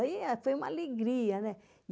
Aí foi uma alegria, né?